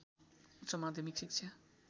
उच्च माध्यमिक शिक्षा